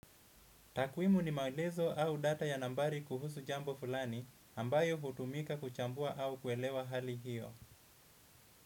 Takwimu ni maelezo au data ya nambari kuhusu jambo fulani ambayo hutumika kuchambua au kuelewa hali hiyo.